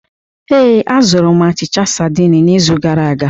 Ee, azụrụ m achịcha saidin n'izu gara aga.